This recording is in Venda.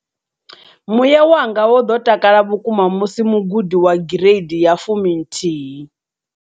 Muya wanga wo ḓo takala vhukuma musi mugudi wa gireidi ya 11.